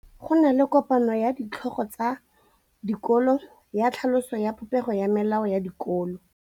Go na le kopanô ya ditlhogo tsa dikolo ya tlhaloso ya popêgô ya melao ya dikolo.